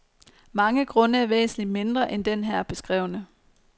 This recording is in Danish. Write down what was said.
Mange grunde er væsentligt mindre end den her beskrevne.